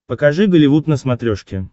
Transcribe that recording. покажи голливуд на смотрешке